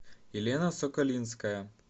елена соколинская